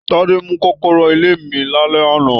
Tade mú kọ́kọ́rọ́ ilé mí lálẹ́ àná.